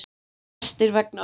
Flestir vegna ölvunar